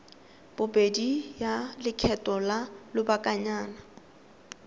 bobedi ya lekgetho la lobakanyana